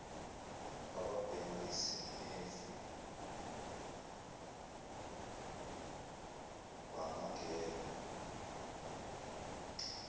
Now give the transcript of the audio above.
ababhema isinemfu bangangenwa